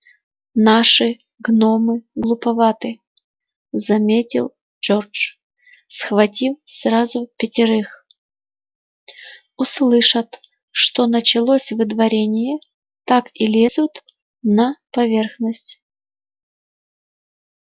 наши гномы глуповаты заметил джордж схватив сразу пятерых услышат что началось выдворение так и лезут на поверхность